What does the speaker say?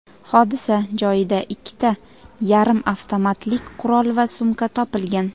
Hodisa joyida ikkita yarim avtomatlik qurol va sumka topilgan.